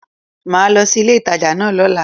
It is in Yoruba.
Màá lo sí ilé ìtajà náà lóla